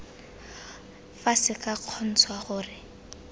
fa se tla kgontsha gore